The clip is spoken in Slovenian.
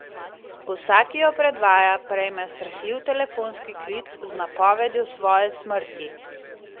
Vsak, ki jo predvaja, prejme srhljiv telefonski klic z napovedjo svoje smrti.